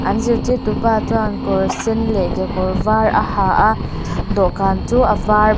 an zirtirtu pa chuan kawr sen leh kekawr var aha a dawhkan chu a var.